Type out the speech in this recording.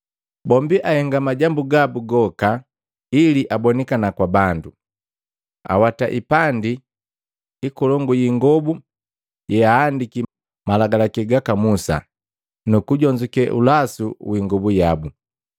Bombi ahenga majambu gabu goka ili abonikana kwa bandu. Awata hipandi ikolongu yiingobu yeahandiki Malagalaki gaka Musa nukujonzuke ulasu wi ingobu yabu.